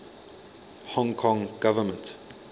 hong kong government